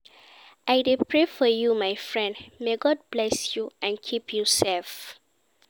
I dey pray for you my friend, may God bless you and keep you safe.